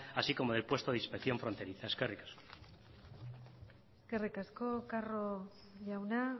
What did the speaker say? así como del puesto de inspección fronteriza eskerrik asko eskerrik asko carro jauna